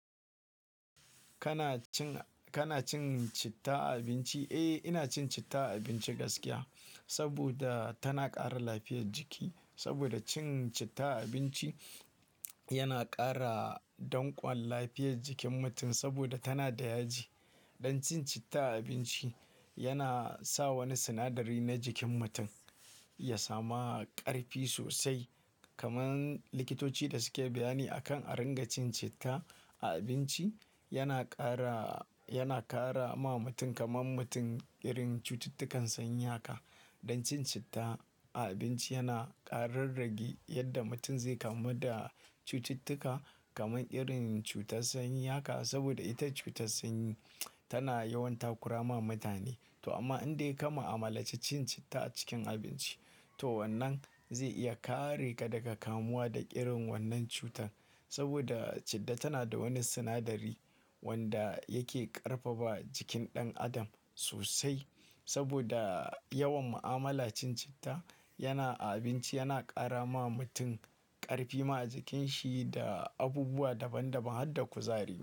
Kana cin, kana cin citta a abinci? Eh, ina cin citta a abinci gaskiya saboda tana ƙara lafiyar jiki. Saboda cin citta a abinci yana ƙara don ƙwan lafiyar jikin mutum saboda tana da yaji. Don cin citta a abinci yana sa wani sinadari na jikin mutum ya sama ƙarfi sosai. Kaman likitoci da suke bayani akan arin ga cin citta a abinci yana ƙara, yana ƙara ma mutum kaman mutum irin cututtukan sanyi haka. Don cin citta a abinci yana ƙararragi yadda mutum zai kamu da cututtuka kaman irin cutar sanyi haka. Saboda ita cutar sanyi tana yawan takura ma mutane. To amma in dai ka ma'amala ce cin citta a cikin abinci, to wannan zai iya kare ka daga kamuwa da irin wannan cutar. Saboda citta tana da wani sinadari wanda yake ƙarfafa jikin ɗan adam sosai. Saboda yawan ma'amala cin citta yana a abinci yana ƙara ma mutum ƙarfi ma a jikinshi da abubuwa daban daban har da kuzari.